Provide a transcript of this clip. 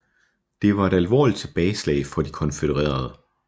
Det var et alvorligt tilbageslag for de konfødererede